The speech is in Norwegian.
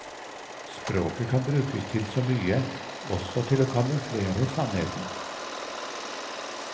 Språket kan brukes til så mye, også til å kamuflere sannheten.